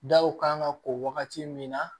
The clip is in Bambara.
Daw kan ka ko wagati min na